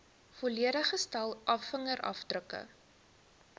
volledige stel vingerafdrukke